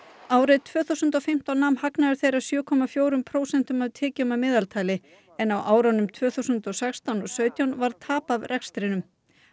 árið tvö þúsund og fimmtán nam hagnaður þeirra sjö komma fjórum prósentum af tekjum að meðaltali en á árunum tvö þúsund og sextán og sautján varð tap á rekstrinum